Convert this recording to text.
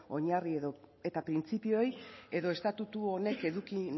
oinarri edota printzipioei edo estatutu honek eduki